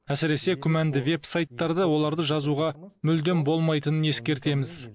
әсіресе күмәнді веб сайттарда оларды жазуға мүлдем болмайтынын ескертеміз